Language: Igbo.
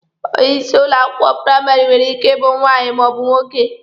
Onye isi ụlọ akwụkwọ praịmarị nwere ike ịbụ nwaanyị ma ọ bu nwoke.